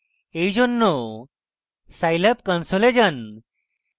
এই জন্য scilab console যান